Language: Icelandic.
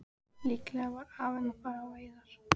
Líklega var afinn að fara á veiðar.